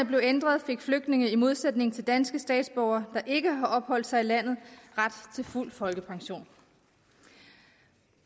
blev ændret fik flygtninge i modsætning til danske statsborgere der ikke har opholdt sig i landet ret til fuld folkepension